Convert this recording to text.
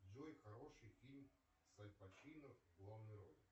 джой хороший фильм с аль пачино в главной роли